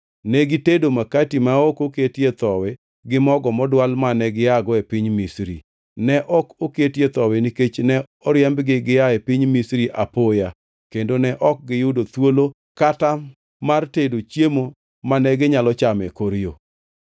Ne gitedo makati ma ok oketie thowi gi mogo modwal mane giago e piny Misri. Ne ok oketie thowi nikech ne oriembgi gia e piny Misri apoya kendo ne ok giyudo thuolo kata mar tedo chiemo mane ginyalo chamo e kor yo.